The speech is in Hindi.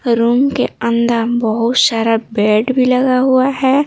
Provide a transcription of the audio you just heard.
रूम के अंदर बहुत सारा बेड भी लगा हुआ है।